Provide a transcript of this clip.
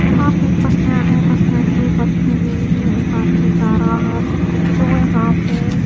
वहां पे एक बस स्टैंड है बस स्टैंड में एक बस ठहरी हुई है एक आदमी जा रहा है जो यहां पे --